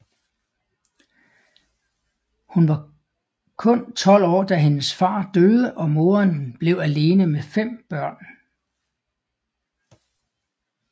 Hun var hun 12 år da hendes fader døde og moderen blev alene med fem børn